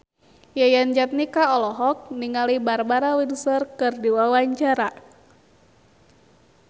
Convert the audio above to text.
Yayan Jatnika olohok ningali Barbara Windsor keur diwawancara